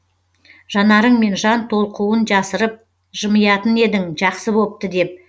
жанарыңмен жан толқуын жасырып жымиятын едің жақсы бопты деп